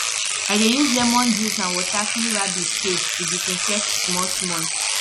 i dey use lemon juice and water clean rabbit cage to disinfect small small